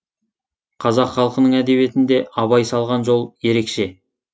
қазақ халқының әдебиетінде абай салған жол ерекше